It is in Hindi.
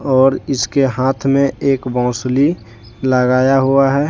और इसके हाथ में एक बोसंली लगाया हुआ है।